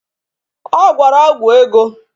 Ọ gwọrọ ọgwụ ego